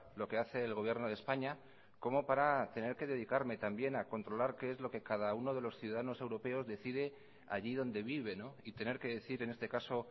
lo que hace el gobierno de españa como para tener que dedicarme también a controlar qué es lo que cada uno de los ciudadanos europeos decide allí donde vive y tener que decir en este caso